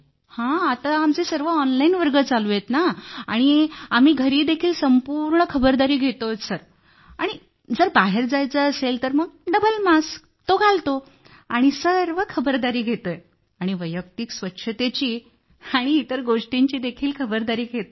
होय आत्ता आमचे सर्व ऑनलाईन वर्ग चालू आहेत आणि आत्ता आम्ही घरी देखील संपूर्ण खबरदारी घेत आहोत आणि जर बाहेर जायचे असेल तर डबल मास्क घालतो आणि सर्व खबरदारी घेतो आणि वैयक्तिक स्वच्छतेची आणि इतर गोष्टींची देखील खबरदारी घेतो